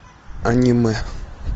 аниме